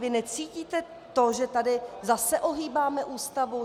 Vy necítíte to, že tady zase ohýbáme Ústavu?